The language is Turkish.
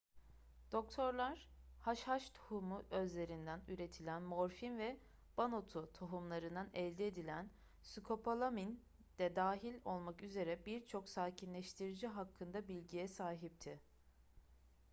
doktorlar haşhaş tohumu özlerinden üretilen morfin ve banotu tohumlarından elde edilen skopolamin de dahil olmak üzere birçok sakinleştirici hakkında bilgiye sahipti